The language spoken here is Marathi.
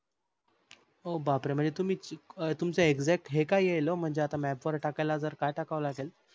बापरे म्हणजे तुम्ही तुमच exact हे काय येईल म्हणजे आता map वर टाकायला जर काय टाकावे लागेल?